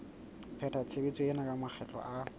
pheta tshebetso ena makgetlo a